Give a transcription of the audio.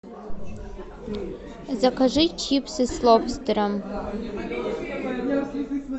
закажи чипсы с лобстером